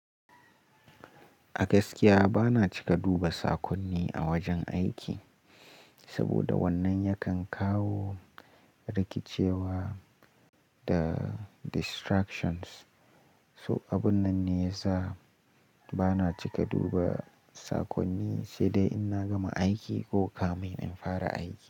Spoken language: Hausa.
A gaskiya bana cika duba sakonni a wajen aiki, saboda wannan yakan kawo rikicewa da distractions. So abun nan ne ya sa bana cika duba sakonni, sai dai in na gama aiki ko kamin in fara aiki.